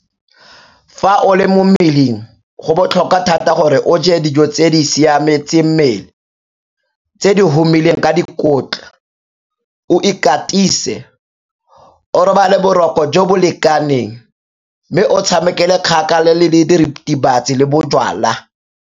Fa o le mo mmeleng go botlhokwa thata gore o je dijo tse di siametseng mmele tse di humileng ka dikotla, o ikatise, o robale boroko jo bo lekaneng mme o tshamekele kgakala le diritibatsi le bojalwa.